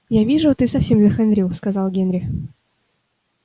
я вижу ты совсем захандрил сказал генри